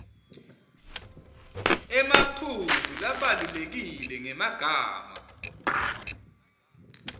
emaphuzu labalulekile ngemagama